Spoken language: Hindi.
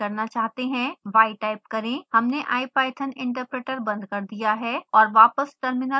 y टाइप करें हमने ipython interpreter बंद कर दिया है और वापस टर्मिनल प्रोम्प्ट पर आ गए हैं